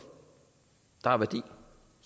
der har værdi